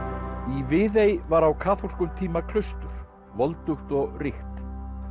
í Viðey var á kaþólskum tíma klaustur voldugt og ríkt